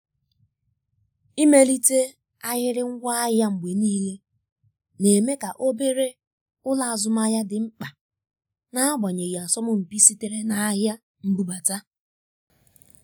imelite ahịrị ngwaahịa mgbe niile na-eme ka obere ụlọ azụmahịa dị mkpa n'agbanyeghị asọmpi sitere na ahịa mbụbata.